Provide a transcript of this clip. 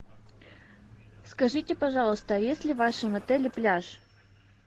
скажите пожалуйста есть ли в вашем отеле пляж